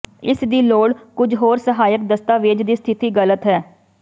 ਇਸ ਦੀ ਲੋੜ ਕੁਝ ਹੋਰ ਸਹਾਇਕ ਦਸਤਾਵੇਜ਼ ਦੀ ਸਥਿਤੀ ਗ਼ਲਤ ਹੈ